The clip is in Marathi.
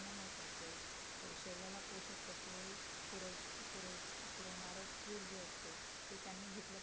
शरीराला पोषक तत्वे पूर पूर पुरवणारा FOOD जे असत ते त्यांनी घेतलं पाहिजे